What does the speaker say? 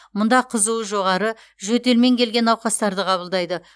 мұнда қызуы жоғары жөтелмен келген науқастарды қабылдайды